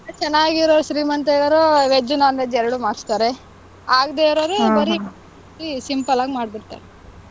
ಚೆನ್ನಾಗಿರೋ ಶ್ರೀಮಂತ ಇರೋರು veg, non-veg ಎರಡೂ ಮಾಡಿಸ್ತಾರೆ. ಆಗ್ದೇ ಇರೋರು ಬರೀ ಬರೀ simple ಆಗ್ ಮಾಡ್ಬಿಡ್ತಾರೆ.